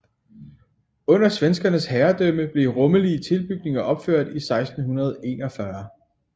Under svenskernes herredømme blev rummelige tilbygninger opført i 1641